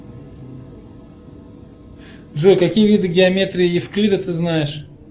джой какие виды геометрии евклида ты знаешь